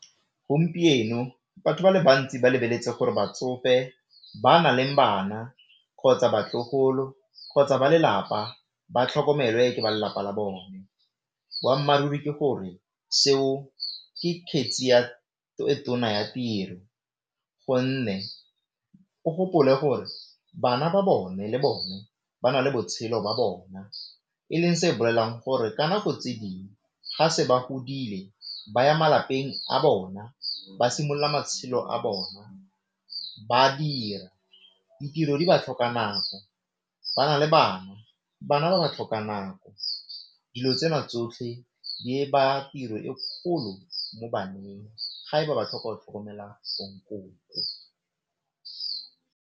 Gompieno batho ba le bantsi ba lebeletse gore batsofe ba na leng bana, kgotsa batlogolo, kgotsa ba lelapa ba tlhokomelwe ke ba lelapa la bone, boammaaruri ke gore seo ke kgetse e tona ya tiro gonne o gopole gore bana ba bone le bone ba na le botshelo ba bona e leng se gore ka nako tse dingwe ga se ba godile ba ya malapeng a bona, ba simolola matshelo a bona, ba dira, ditiro di ba tlhoka nako, ba na le bana, bana ba ba tlhoka nako dilo tsena tsotlhe di ba tiro e kgolo mo baneng ga e ba ba tlhoka go tlhokomela